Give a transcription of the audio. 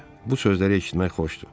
Bu sözləri eşitmək xoşdur.